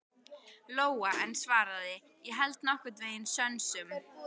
Lóa en svaraði: Ég held nokkurn veginn sönsum.